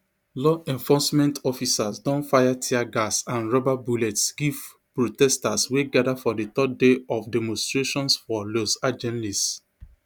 law enforcement officers don fire tear gas and rubber bullets give protesters wey gada for di third day of demonstrations for los angeles